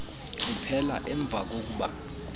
kuphela emva kokuba